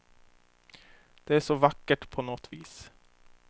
Det är så vackert på något vis.